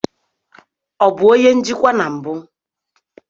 Ọ bụ onye njikwa na mbụ?